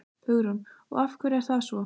Hugrún: Og af hverju er það svo?